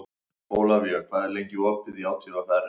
Ólafía, hvað er lengi opið í ÁTVR?